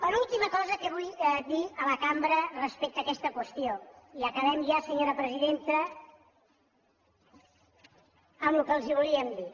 penúltima cosa que vull dir a la cambra respecte a aquesta qüestió i acabem ja senyora presidenta amb el que els volíem dir